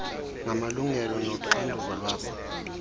ngamalungelo noxanduva lwabo